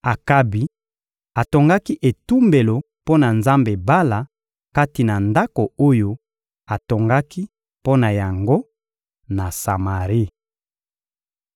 Akabi atongaki etumbelo mpo na nzambe Bala kati na ndako oyo atongaki mpo na yango, na Samari.